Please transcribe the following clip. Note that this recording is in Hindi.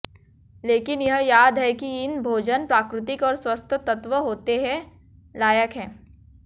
लेकिन यह याद है कि इन भोजन प्राकृतिक और स्वस्थ तत्व होते हैं लायक है